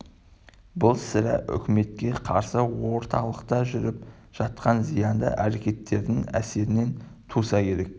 бұл сірә үкіметке қарсы орталықта жүріп жатқан зиянды әрекеттердің әсерінен туса керек